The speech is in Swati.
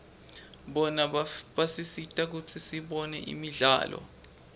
bona basisita kutsi sibone imidlalo